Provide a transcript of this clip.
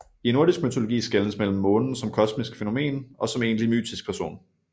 I nordisk mytologi skelnes mellem månen som kosmisk fænomen og som egentlig mytisk person